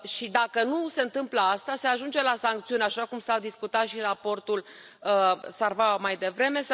Dacă nu se întâmplă asta, se ajunge la sancțiuni, așa cum s a discutat și în raportul Sarvamaa mai devreme.